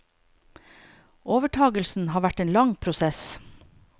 Overtagelsen har vært en lang prosess.